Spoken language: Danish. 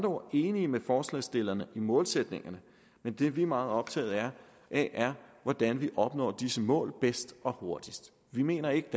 ord enige med forslagsstillerne i målsætningerne men det vi er meget optaget af er hvordan man opnår disse mål bedst og hurtigst vi mener ikke